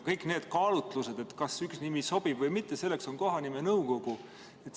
Kõik need kaalutlused, kas üks nimi sobib või mitte – selleks on kohanimenõukogu.